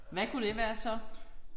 Hvad kunne det være så?